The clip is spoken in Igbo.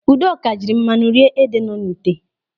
Udoka jiri mmanụ nri rie ede nọ n'ite.